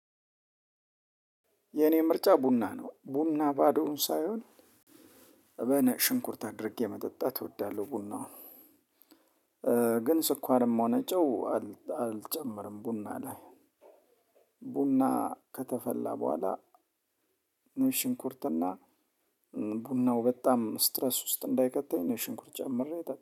የኔ ምርጫ ቡና ነው ቡና ባዶውን ሳይሆን በነ ሽንኩርት አድርጌ መጠጣት እወዳለሁ። ቡናውን። ግን ስኳርም ሆነ ጨው። አልጨመርም ቡና ላይ። ቡና ከተፈላ በኋላ ነጭ ሽንኩርትና እና ቡናው በጣም ስትረስ ውስጥ እንዳይቀጣኝ ነጭ ሽንኩርት ጨምሬ